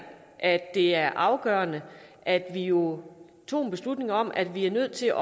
at det er afgørende at vi jo tog en beslutning om at vi er nødt til